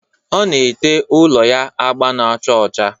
Ọ na-ete ụlọ ya agba na-acha ọcha